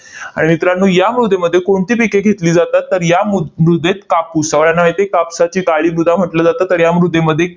आणि मित्रांनो, या मृदेमध्ये कोणती पिके घेतली जातात? तर या मु मृदेत कापूस, सगळ्यांना माहित आहे कापसाची काळी मृदा म्हटलं जातं. तर या मृदेमध्ये